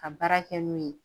Ka baara kɛ n'o ye